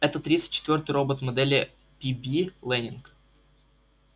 это тридцать четвёртый робот модели пиби лэннинг